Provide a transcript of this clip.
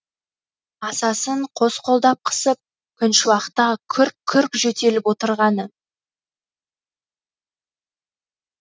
асасын қос қолдап қысып күншуақта күрк күрк жөтеліп отырғаны